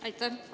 Aitäh!